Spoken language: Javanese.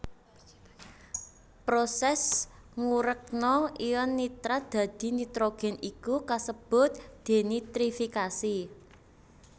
Prosès ngurèkna ion nitrat dadi nitrogén iku kasebut dénitrifikasi